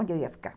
Onde eu ia ficar?